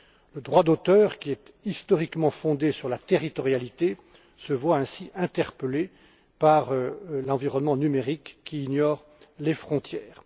Le droit d'auteur, qui est historiquement fondé sur la territorialité, se voit ainsi interpellé par l'environnement numérique, qui ignore les frontières.